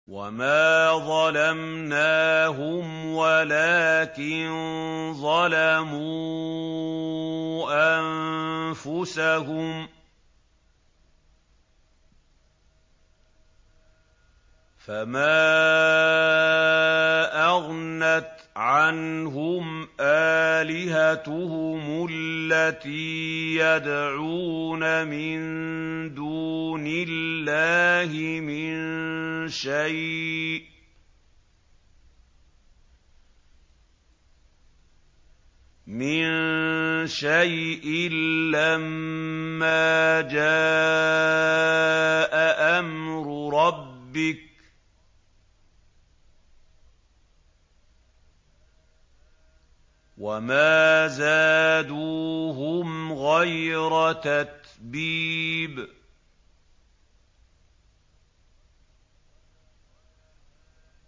وَمَا ظَلَمْنَاهُمْ وَلَٰكِن ظَلَمُوا أَنفُسَهُمْ ۖ فَمَا أَغْنَتْ عَنْهُمْ آلِهَتُهُمُ الَّتِي يَدْعُونَ مِن دُونِ اللَّهِ مِن شَيْءٍ لَّمَّا جَاءَ أَمْرُ رَبِّكَ ۖ وَمَا زَادُوهُمْ غَيْرَ تَتْبِيبٍ